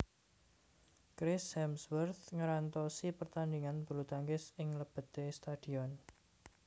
Chris Hemsworth ngrantosi pertandingan bulutangkis ing lebete stadion